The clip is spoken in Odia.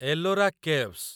ଏଲୋରା କେଭ୍ସ